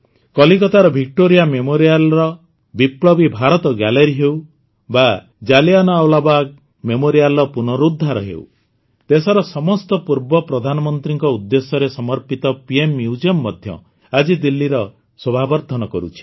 କଲିକତାର ଭିକ୍ଟୋରିଆ Memorialର ବିପ୍ଳବୀ ଭାରତ ଗ୍ୟାଲେରୀ ହେଉ ବା ଜଲିଆଁୱାଲାବାଗ୍ Memorialର ପୁନରୁଦ୍ଧାର ହେଉ ଦେଶର ସମସ୍ତ ପୂର୍ବ ପ୍ରଧାନମନ୍ତ୍ରୀଙ୍କ ଉଦ୍ଦେଶ୍ୟରେ ସମର୍ପିତ ପିଏମ୍ ମ୍ୟୁଜିୟମ ମଧ୍ୟ ଆଜି ଦିଲ୍ଲୀର ଶୋଭାବର୍ଦ୍ଧନ କରୁଛି